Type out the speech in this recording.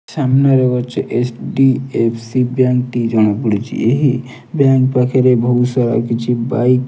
ସାମ୍ନାରେ ଅଛି H D F C bank ଟି ଜଣାପଡ଼ିଛି। ଏହି ବ୍ୟାଙ୍କ୍ ପାଖରେ ବୋହୁତ ସାରା କିଛି ବାଇକ୍।